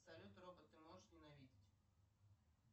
салют робот ты можешь ненавидеть